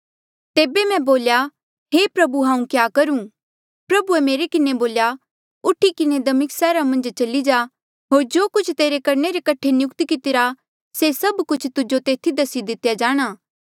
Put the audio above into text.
तेबे मैं बोल्या हे प्रभु हांऊँ क्या करूं प्रभुए मेरे किन्हें बोल्या उठी किन्हें दमिस्का सैहरा मन्झ चली जा होर जो कुछ तेरे करणे रे कठे नियुक्त कितिरा से सभ कुछ तुजो तेथी दसी दितेया जाणा